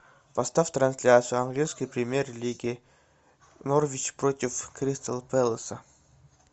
поставь трансляцию английской премьер лиги норвич против кристал пэласа